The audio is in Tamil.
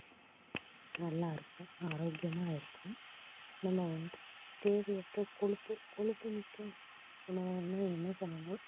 நல்லா இருக்கும் ஆரோக்கியமாக இருக்கும் நம்ம வந்து தேவையற்ற கொழுப்பு கொழுப்புமிக்க உணவுகள்னா என்ன சொல்லலாம்